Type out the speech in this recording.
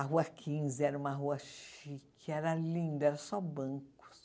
A Rua Quinze era uma rua chique, era linda, era só bancos.